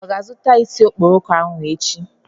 Ọ ga-azụta isi okporoko ahụ echi?